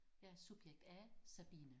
Jeg er subjekt A Sabine